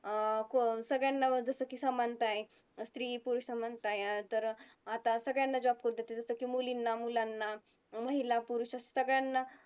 अं सगळ्यांना जसं की समानता आहे. स्त्री-पुरुष समानता आहे तर आता सगळ्यांना job करू देतात जसं की मुलींना-मुलांना, महिला-पुरुष असं सगळ्यांना